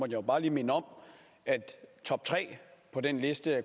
jo bare lige minde om at toptre på den liste